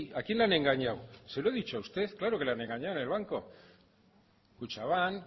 a quién le han engañado se lo he dicho a usted claro que le han engañado en el banco kutxabank